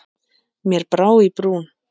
Mér brá í brún.